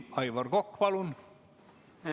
Aivar Kokk, palun!